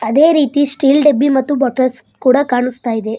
ಅದೇ ರೀತಿ ಸ್ಟೀಲ್ ಡಬ್ಬಿ ಮತ್ತು ಬಾಟಲ್ಸ್ ಕೂಡ ಕಾಣಿಸ್ತಾ ಇದೆ.